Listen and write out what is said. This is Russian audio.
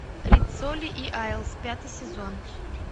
риццоли и айлс пятый сезон